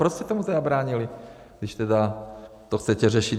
Proč jste tomu zabránili, když tedy to chcete řešit?